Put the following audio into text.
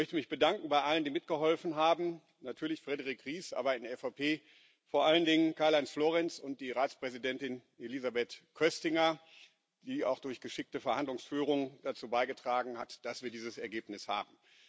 Ich möchte mich bedanken bei allen, die mitgeholfen haben natürlich Frédérique Ries, aber in der EVP vor allen Dingen Karl Heinz Florenz und die Ratspräsidentin Elisabeth Köstinger, die auch durch geschickte Verhandlungsführung dazu beigetragen hat, dass wir dieses Ergebnis haben.